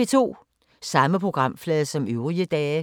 Samme programflade som øvrige dage